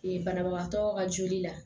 banabagatɔ ka joli la